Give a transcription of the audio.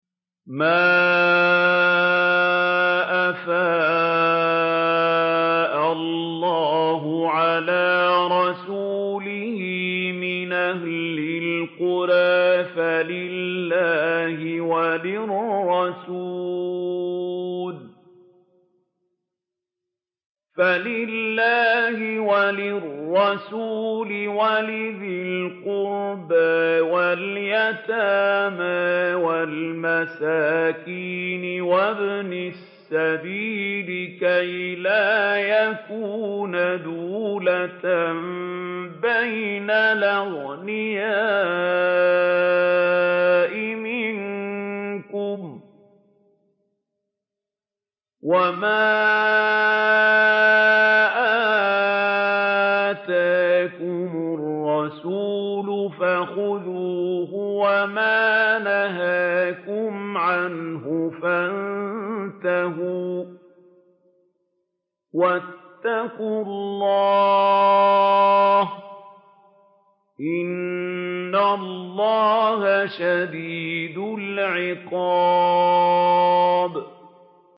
مَّا أَفَاءَ اللَّهُ عَلَىٰ رَسُولِهِ مِنْ أَهْلِ الْقُرَىٰ فَلِلَّهِ وَلِلرَّسُولِ وَلِذِي الْقُرْبَىٰ وَالْيَتَامَىٰ وَالْمَسَاكِينِ وَابْنِ السَّبِيلِ كَيْ لَا يَكُونَ دُولَةً بَيْنَ الْأَغْنِيَاءِ مِنكُمْ ۚ وَمَا آتَاكُمُ الرَّسُولُ فَخُذُوهُ وَمَا نَهَاكُمْ عَنْهُ فَانتَهُوا ۚ وَاتَّقُوا اللَّهَ ۖ إِنَّ اللَّهَ شَدِيدُ الْعِقَابِ